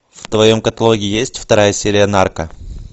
в твоем каталоге есть вторая серия нарко